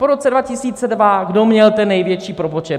Po roce 2002, kdo měl ten největší propočet?